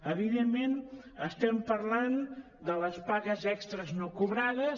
evidentment estem parlant de les pagues extres no cobrades